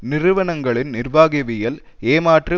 நிறுவனங்களின் நிர்வாகவியல் ஏமாற்று